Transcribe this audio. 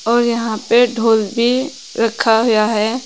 और यहां पे ढोल भी रखा गया है।